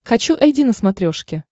хочу айди на смотрешке